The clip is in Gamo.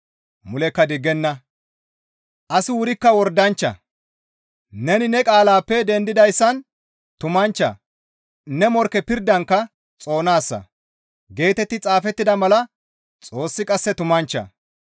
Mulekka diggenna! Asi wurikka wordanchcha, «Neni ne qaalaappe dendidayssan tumanchcha; ne morkke pirdankka xoonaasa» geetetti xaafettida mala Xoossi qasse tumanchcha.